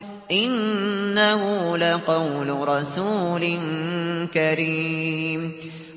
إِنَّهُ لَقَوْلُ رَسُولٍ كَرِيمٍ